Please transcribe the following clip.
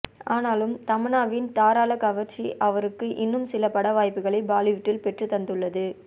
ஆனாலும் தமன்னாவின் தாராளக் கவர்ச்சி அவருக்கு இன்னும் சில பட வாய்ப்புகளை பாலிவுட்டில் பெற்றுத் தந்ததுள்ளது